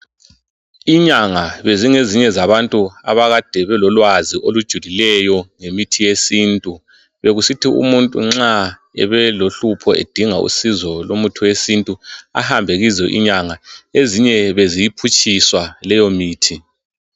Inyanga bezingezinye zabantu abakade belolwazi olujulileyo lemithi yesintu. Bekusithi umuntu nxa ebelohlupho edinga usizo lomuthi wesintu, ahambe kizo inyanga. Ezinye beziyiphutshiswa leyomithi.